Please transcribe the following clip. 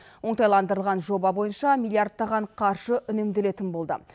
оңтайландырылған жоба бойынша миллиардтаған қаржы үнемделетін болды